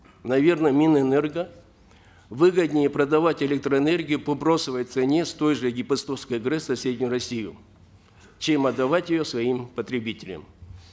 наверно минэнерго выгоднее продавать электроэнергию по бросовой цене с той же депостовской грэс в соседнюю россию чем отдавать ее своим потребителям